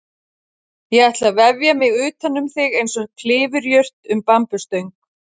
Ég ætla að vefja mig utanum þig einsog klifurjurt um bambusstöng.